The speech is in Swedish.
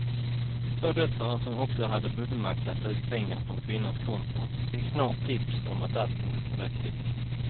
Två döttrar som också hade fullmakt att ta ut pengar från kvinnans konton fick snart tips om att allt inte stod rätt till.